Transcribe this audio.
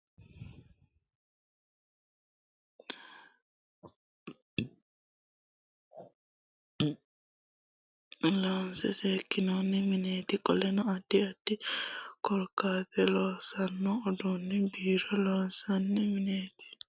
kuni leellanno dargi haaro bilbilla hirranni dargati. hattonni akalino bilbila loonse seekinanni mineeti. qoleno addi addi korrentete loosanno udunni bairo loonsanni mineti.